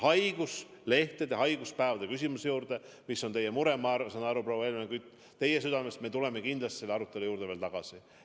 Haiguslehtede, haiguspäevade küsimuse juurde, mis on suur mure teie südames, ma saan aru, proua Helmen Kütt, me tuleme kindlasti veel tagasi.